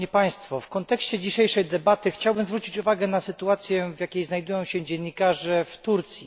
W kontekście dzisiejszej debaty chciałbym zwrócić uwagę na sytuację, w jakiej znajdują się dziennikarze w Turcji.